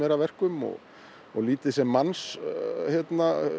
að verkum og og lítið sem mannshöndin